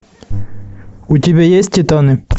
у тебя есть титаны